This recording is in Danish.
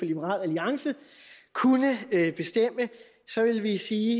liberal alliance kunne bestemme så ville jeg sige